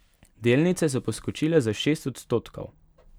Delnice so poskočile za šest odstotkov.